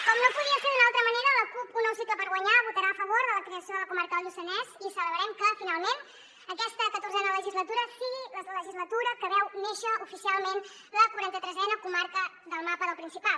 com no podia ser d’una altra manera la cup un nou cicle per guanyar votarà a favor de la creació de la comarca del lluçanès i celebrem que finalment aquesta catorzena legislatura sigui la legislatura que veu néixer oficialment la quaranta tresena comarca del mapa del principat